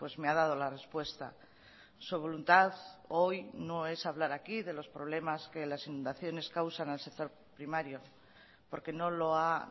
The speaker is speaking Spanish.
me ha dado la respuesta su voluntad hoy no es hablar aquí de los problemas que las inundaciones causan al sector primario porque no lo ha